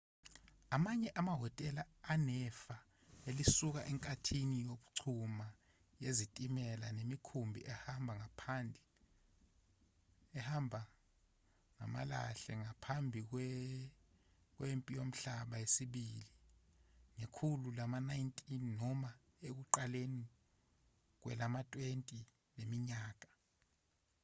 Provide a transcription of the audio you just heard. amanye amahhotela anefa elisuka enkathini yokuchuma yezitimela nemikhumbi ehamba ngamalahle ngaphambi kwempi yomhlaba yesibili ngekhulu lama-19 noma ekuqaleni kwelama-20 leminyaka